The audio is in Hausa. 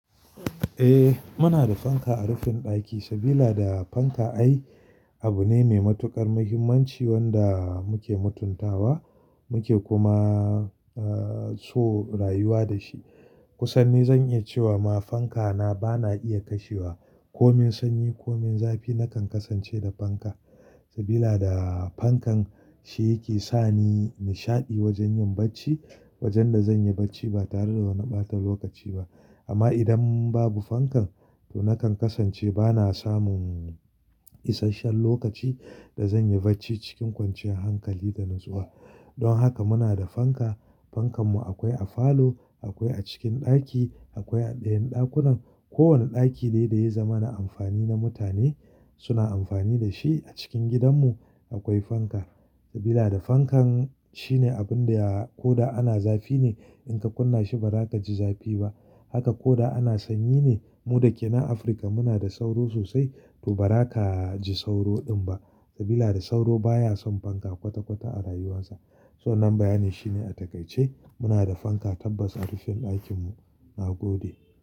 Eh, muna da fanka a rufin ɗaki saboda fanka ai abu ne mai matuƙar muhimmanci wanda muke mutuntawa, muke kuma, eh, so rayuwa da shi. Kusan ni zan iya cewa ma fankata bana iya kashewa. Komin sanyi, komin zafi nakan kasance da fanka saboda fankar ita take saka ni nishaɗi wajen yin barci. Wajen da zanyi barci ba tare da wani ɓata lokaci ba. Amma idan babu fankar to nakan kasance bana samun isashen lokaci da zanyi barci cikin kwanciyar hankali da natsuwa. Don haka muna da fanka. Fankar mu akwai a falo, akwai a cikin ɗaki, akwai a dayan ɗakunan. Ko wane ɗaki dai dai ya zama na amfani na mutane, suna amfani da shi a cikin gidan mu akwai fanka sabida da fankan shine abun da ya, ko da ana zafi ne in ka kunna shi ba za ka ji zafi ba. Haka ko da ana sanyi ne. Mu da ke nan Afirka muna da sauro sosai to ba ra ka ji sauro din ba saboda sauro baya son fanka kwata kwata a rayuwarsa. So wannan bayanin shi ne a takaice muna da fanka tabbas a rufin ɗakin mu. Na gode.